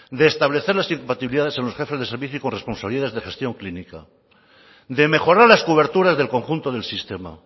de establecer las incompatibilidades en los jefes de servicio y corresponsabilidades de gestión clínica de mejorar las coberturas del conjunto del sistema